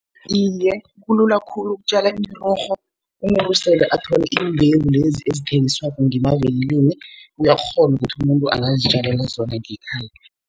Iye, kulula khulu ukutjala imirorho umuntu sele athole iimbewu lezi ezithengiswako ngemavikilini. Uyakghona ukuthi umuntu angazitjalela zona ngekhaya.